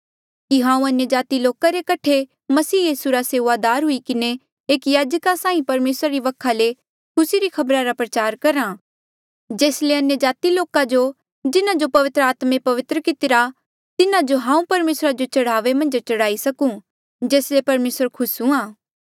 कि हांऊँ अन्यजाति रे लोका रे कठे मसीह यीसू रा सेऊआदार हुई किन्हें एक याजका साहीं परमेसरा रे वखा ले खुसी री खबरा रा प्रचार करहा जेस ले अन्यजाति लोका जो जिन्हा जो पवित्र आत्मे पवित्र कितिरा तिन्हा जो हांऊँ परमेसरा जो चढावे मन्झ चढ़ाई सकूं जेस ले परमेसरा खुस हूंणा